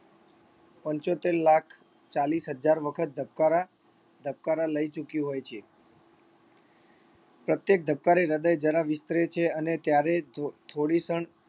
પંચોતેર લાખ ચાલીસ હજાર વખત ધબકારા ધબકારા લઇ ચૂક્યું હોય છે પ્રત્યેક ધબકારે હૃદય જરા વિસ્તરે છે અને ત્યારે ધો થોડી ક્ષણ